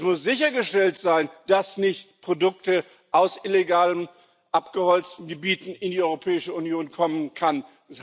Es muss sichergestellt sein, dass nicht Produkte aus illegal abgeholzten Gebieten in die Europäische Union kommen können.